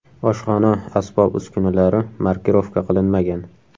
Oshxona asbob-uskunalari markirovka qilinmagan.